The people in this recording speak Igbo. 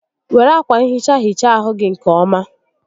Were akwa nhicha hichaa ahụ gị nke ọmaoma